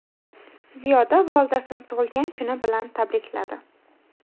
Ziyoda volidasini tug‘ilgan kuni bilan tabrikladi.